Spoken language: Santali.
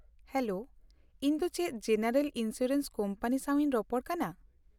ᱼᱦᱮᱞᱳ, ᱤᱧ ᱫᱚ ᱪᱮᱫ ᱡᱮᱱᱟᱨᱮᱞ ᱤᱱᱥᱩᱨᱮᱱᱥ ᱠᱳᱢᱯᱟᱱᱤ ᱥᱟᱶᱤᱧ ᱨᱚᱯᱚᱲ ᱠᱟᱱᱟ ?